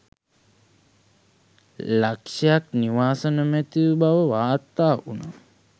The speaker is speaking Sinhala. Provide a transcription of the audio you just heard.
ලක්ෂක් නිවාස නොමැති බව වාර්තා වුණා.